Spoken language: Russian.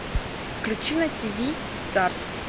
включи на тв старт